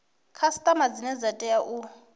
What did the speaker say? khasiṱama dzine dza tea u